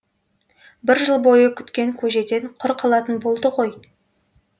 бір жыл бойы күткен көжеден құр қалатын болды ғой